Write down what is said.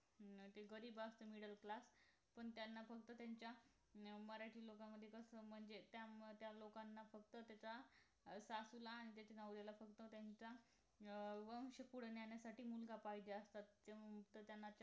ते गरीब असतात middle class पण त्यांना फक्त त्यांच्या मराठी लोकांमध्ये कसं म्हणजे त्यामुळे त्या लोकांना फक्त त्याचा सासूला आणि नवऱ्याला फक्त त्यांचा वंश पुढे नेण्यासाठी मुलगा पाहिजे असतो म्हणून त्यांना